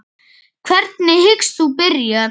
Hvernig hyggst þú byrja?